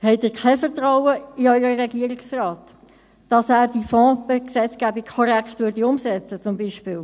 Haben Sie kein Vertrauen in Ihren Regierungsrat, dass er diese Fonds-Gesetzgebung zum Beispiel korrekt umsetzen würde?